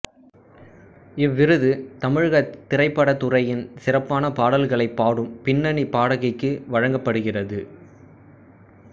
இவ்விருது தமிழகத் திரைப்படத்துறையில் சிறப்பான பாடல்களை பாடும் பின்னணிப் பாடகிக்கு வழங்கப்படுகிறது